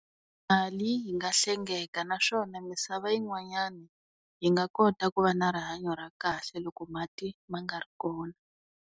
Mali yi nga hlengeka naswona misava yi n'wanyana yi nga kota ku va na rihanyo ra kahle loko mati ma nga ri kona.